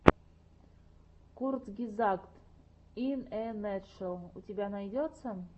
курцгезагт ин э натшел у тебя найдется